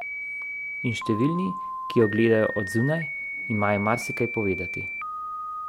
In številni, ki jo gledajo od zunaj, imajo marsikaj povedati.